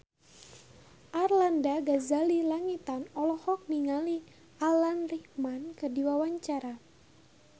Arlanda Ghazali Langitan olohok ningali Alan Rickman keur diwawancara